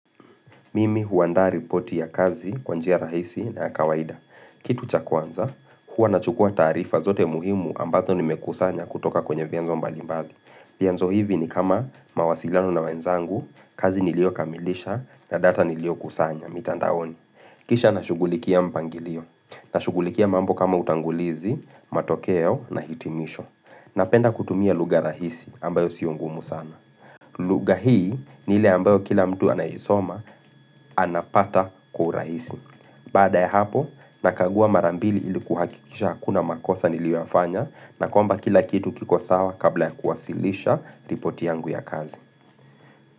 Mimi huanda ripoti ya kazi kwa njia rahisi na kawaida. Kitu cha kwanza, huwa nachukua taarifa zote muhimu ambazo nimekusanya kutoka kwenye vienzo mbalimbali. Vienzo hivi ni kama mawasilano na wenzangu, kazi nilio kamilisha na data nilio kusanya, mitandaoni. Kisha nashugulikia mpangilio, na shugulikia mambo kama utangulizi, matokeo na hitimisho. Napenda kutumia lugha rahisi ambayo sio ngumu sana. Lugha hii ni ile ambayo kila mtu anaisoma anapata kwa urahisi. Baada ya hapo, nakagua mara mbili iliku hakikisha hakuna makosa niliyoyafanya na kwamba kila kitu kiko sawa kabla ya kuwasilisha ripoti yangu ya kazi.